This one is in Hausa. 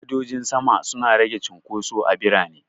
Gadojin sama suna rage cunkoso a birane.